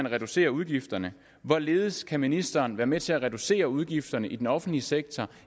reducere udgifterne hvorledes kan ministeren være med til at reducere udgifterne i den offentlige sektor